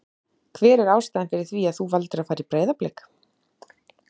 Hver er ástæðan fyrir því að þú valdir að fara í Breiðablik?